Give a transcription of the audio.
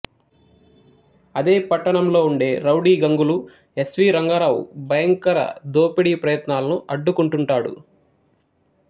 అదే పట్టణంలో ఉండే రౌడీ గంగులు ఎస్వీ రంగారావు భయంకర్ దోపిడీ ప్రయత్నాలను అడ్డుకుంటుంటాడు